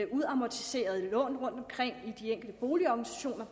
udamortiserede lån rundtomkring i de enkelte boligorganisationer